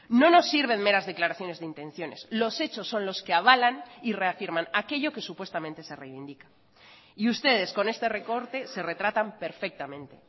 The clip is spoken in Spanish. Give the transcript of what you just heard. no nos sirven meras declaraciones de intenciones los hechos son los que avalan y reafirman aquello que supuestamente se reivindica y ustedes con este recorte se retratan perfectamente